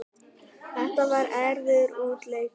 Þetta var erfiður útileikur